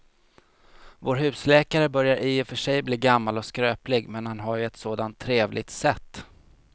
Vår husläkare börjar i och för sig bli gammal och skröplig, men han har ju ett sådant trevligt sätt!